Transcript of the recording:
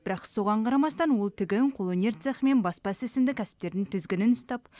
бірақ соған қарамастан ол тігін қолөнер цехі мен баспа ісі сынды кәсіптердің тізгінін ұстап